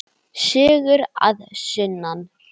Sögur að sunnan.